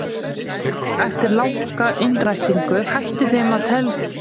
Eftir langa innrætingu hætti þeim til að telja valdsmannslega framkomu jafngilda valdi.